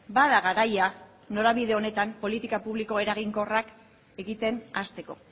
bada garaia norabide honetan politika publiko eraginkorrak egiten hasteko